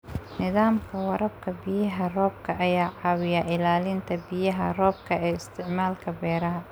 Nidaamka waraabka biyaha roobka ayaa caawiya ilaalinta biyaha roobka ee isticmaalka beeraha.